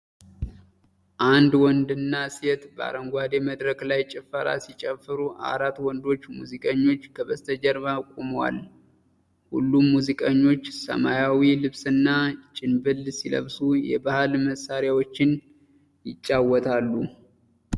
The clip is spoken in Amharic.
አንድ ወንድና ሴት በአረንጓዴ መድረክ ላይ ጭፈራ ሲጨፍሩ፣ አራት ወንዶች ሙዚቀኞች ከበስተጀርባ ቆመዋል። ሁሉም ሙዚቀኞች ሰማያዊ ልብስና ጭንብል ሲለብሱ፣ የባሕል መሣሪያዎችን ይጫወታሉ።